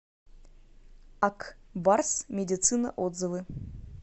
ак барс медицина отзывы